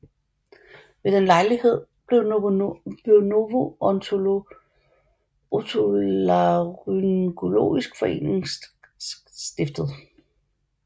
Ved den lejlighed blev Nordisk Otolaryngologisk Forening stiftet